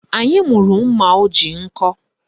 Anyị mụrụ mma o ji nkọ